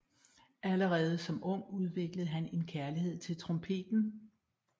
Allerede som ung udviklede han en kærlighed til trompeten